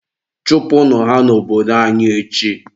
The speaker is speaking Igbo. chụpụnụ ha n'obodo anyị echi!.